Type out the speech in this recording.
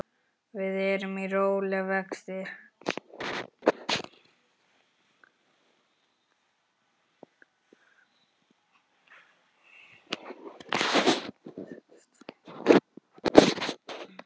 Við erum í rólegum vexti.